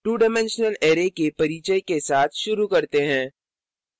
2 dimensional array के परिचय के साथ शुरू करते हैं